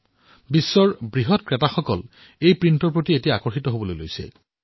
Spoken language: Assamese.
বিশ্বৰ বৃহৎ বৃহৎ ক্ৰেতাই এই প্ৰিণ্টৰ প্ৰতি আকৰ্ষিত হৈছে